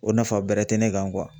O nafa bɛrɛ tɛ ne kan